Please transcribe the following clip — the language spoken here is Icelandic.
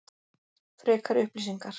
Frekari upplýsingar: